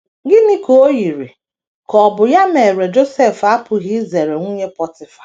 Gịnị ka o yiri ka ọ bụ ya mere Josef apụghị izere nwunye Pọtịfa?